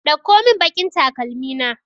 Ɗauko mun baƙin takalmi na!